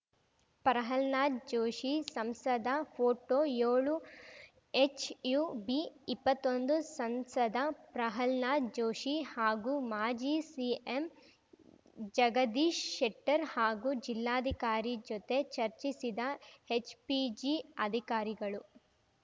ಪ್ರಹ್ಲಾದ್ ಜೋಶಿ ಸಂಸದ ಫೋಟೋಯೋಳು ಹೆಚ್‌ಯುಬಿಇಪ್ಪತ್ತೊಂದು ಸಂಸದ ಪ್ರಹ್ಲಾದ್ ಜೋಶಿ ಹಾಗೂ ಮಾಜಿ ಸಿಎಂ ಜಗದೀಶ್ ಶೆಟ್ಟರ್‌ ಹಾಗೂ ಜಿಲ್ಲಾಧಿಕಾರಿ ಜೊತೆ ಚರ್ಚಿಸಿದ ಹೆಚ್ ಪಿಜಿ ಅಧಿಕಾರಿಗಳು